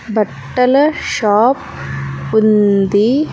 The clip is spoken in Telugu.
బట్టల షాప్ ఉంది.